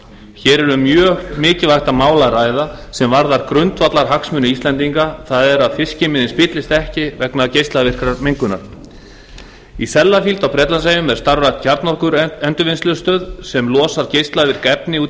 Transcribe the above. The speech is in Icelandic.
hér er um mjög mikilvægt mál að ræða sem varðar grundvallarhagsmuni íslendinga það er að fiskimiðin spillist ekki vegna geislavirkrar mengunar í sellafield á bretlandseyjum er starfrækt kjarnorkuendurvinnslustöð sem losar geislavirk efni út í